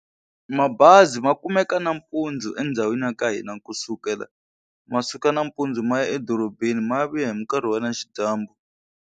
Mabazi ma kumeka nampundzu endhawini ya ka hina kusukela ma suka nampundzu ma ya edorobeni ma ya vuya hi nkarhi wa na xidyambu.